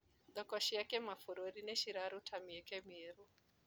Thoko cia kĩmabũruri nĩciraruta mieke mĩerũ.